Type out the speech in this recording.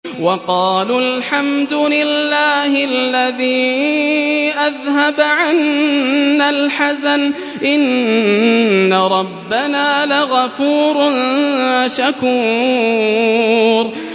وَقَالُوا الْحَمْدُ لِلَّهِ الَّذِي أَذْهَبَ عَنَّا الْحَزَنَ ۖ إِنَّ رَبَّنَا لَغَفُورٌ شَكُورٌ